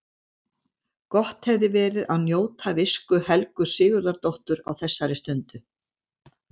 Gott hefði verið að njóta visku Helgu Sigurðardóttur á þessari stundu.